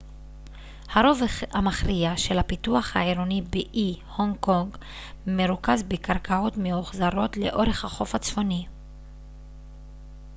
הרוב המכריע של הפיתוח העירוני באי הונג קונג מרוכז בקרקעות מאוחזרות לאורך החוף הצפוני